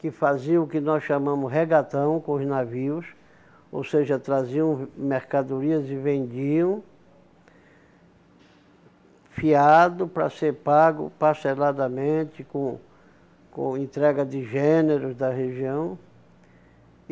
que faziam o que nós chamamos regatão com os navios, ou seja, traziam mercadorias e vendiam, fiado para ser pago parceladamente, com com entrega de gêneros da região.